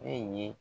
Ne ye